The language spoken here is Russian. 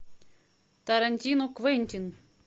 тарантино квентин